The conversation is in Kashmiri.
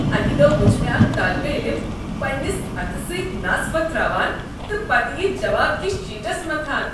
اکہ دۄہ وُچھ مےٚ اكھ طٲلب علم پنٛنس اتھٕ سۭتۍ نس وۄتھراوان تہٕ پتہٕ یہِ جواب کس شیٹس متھان۔